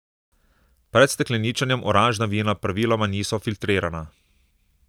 Pred stekleničenjem oranžna vina praviloma niso filtrirana.